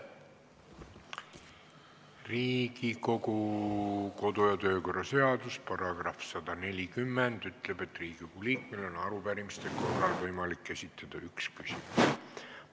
Riigikogu kodu- ja töökorra seaduse § 140 ütleb, et Riigikogu liikmel on arupärimiste korral võimalik esitada üks küsimus.